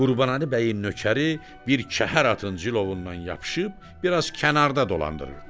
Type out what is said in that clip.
Qurbanəli bəyin nökəri bir kəhər atın cilovundan yapışıb bir az kənarda dolandırırdı.